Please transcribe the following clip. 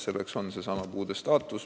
Selleks on seesama puude staatus.